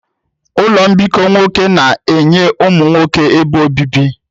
Ụlọ mbikọ nwoke na-enye ụmụ nwoke ebe obibi.